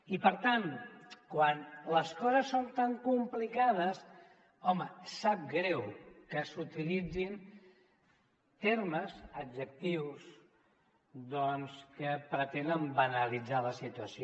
i per tant quan les coses són tan complicades home sap greu que s’utilitzin termes adjectius que pretenen banalitzar la situació